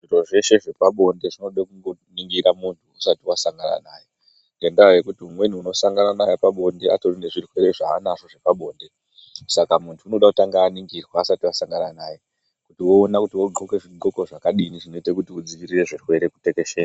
Zviro zveshe zvepabonde zvinoda kuningira muntu usati wasangana naye ngekuti umweni unosangana naye pabonde atori nezvirwere zvaanazvo zvepabonde. Saka muntu unoda kutanha aningirwa usati wasangana naye kuti woona kuti wodxoka zvidxoko zvakadini kuti uwone kudzivirira zvirwere kutekeshera.